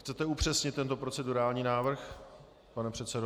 Chcete upřesnit tento procedurální návrh, pane předsedo?